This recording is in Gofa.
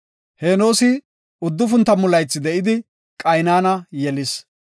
Henoosi 90 laythi de7idi, Qaynana yelis.